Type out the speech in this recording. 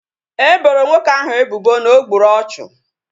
E boro nwoke ahu ebubo na o gburu ọchụ